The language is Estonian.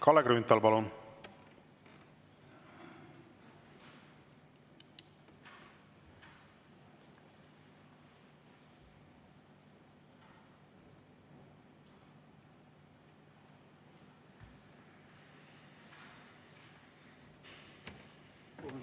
Kalle Grünthal, palun!